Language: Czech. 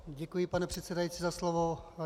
Děkuji, pane předsedající, za slovo.